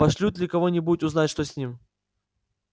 пошлют ли кого-нибудь узнать что с ним